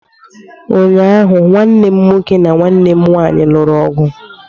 Ụnyaahụ, nwanne m nwoke na nwanne m nwanyị lụrụ ọgụ